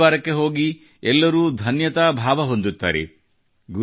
ಗುರುದ್ವಾರಕ್ಕೆ ಹೋಗಿ ಎಲ್ಲರೂ ಧನ್ಯತಾಭಾವವನ್ನು ಹೊಂದುತ್ತಾರೆ